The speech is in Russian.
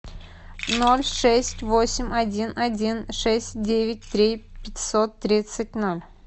ноль шесть восемь один один шесть девять три пятьсот тридцать ноль